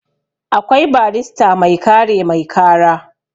akwai barrista mai kare mai kara